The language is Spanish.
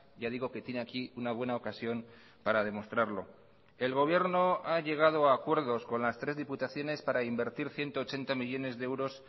ya digo que tiene aquí una buena ocasión para demostrarlo el gobierno ha llegado a acuerdos con las tres diputaciones para invertir ciento ochenta millónes de euros